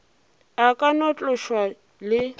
a ka no tloša le